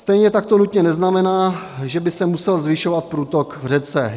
Stejně tak to nutně neznamená, že by se musel zvyšovat průtok v řece.